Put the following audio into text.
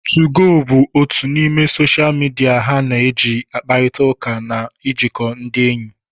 2go bụ otu n'ime soshal midia ha na eji ịkparịta ụka na ijikọ ndị enyi